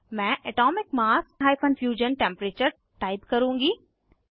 मैं atomic mass - fusion temperature type करुँगी